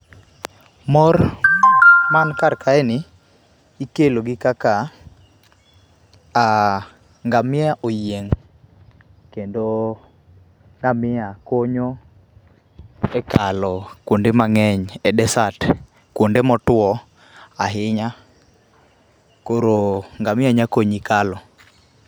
Mor man kar kae ni ikelo gi kaka ngamia oyieng kendo ngamia konyo e kalo kuond emangenhy e desert, kuonde motuo ahinya, koro ngamia nya konyi kalo.